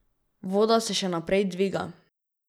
Voda se še naprej dviga.